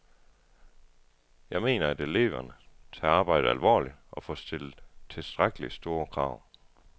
Jeg mener, at eleverne tager arbejdet alvorligt, og får stillet tilstrækkeligt store krav.